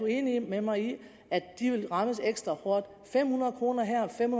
enig med mig i at de vil rammes ekstra hårdt fem hundrede kroner her og fem